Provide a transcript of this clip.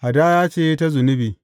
Hadaya ce ta zunubi.